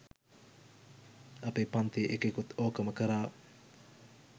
අපෙ පන්තියෙ එකෙකුත් ඕකම කරා.